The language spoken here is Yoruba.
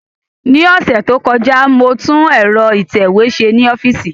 Ní ọ̀sẹ̀ tó kọjá, mo tún ẹ̀rọ ìtẹ̀wé ṣe ní ọ́fíìsì